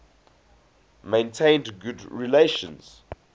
maintained good relations